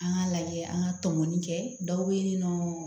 An k'a lajɛ an ka tɔmɔmɔni kɛ dɔw bɛ yen nɔ